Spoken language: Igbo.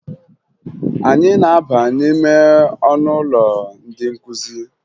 Anyị na-aba n'ime ọnụụlọ ndị nkụzi